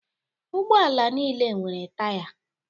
Ụgbọala niile nwere taya.